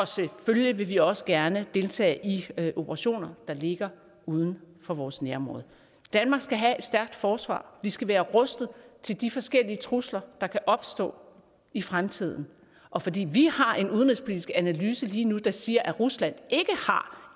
selvfølgelig også gerne deltage i operationer der ligger uden for vores nærområde danmark skal have et stærkt forsvar vi skal være rustet til de forskellige trusler der kan opstå i fremtiden og fordi vi har en udenrigspolitisk analyse lige nu der siger at rusland ikke har